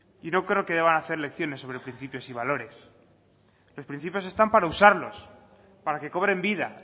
y no creo que deban hacer lecciones sobre principios y valores los principios están para usarlos para que cobren vida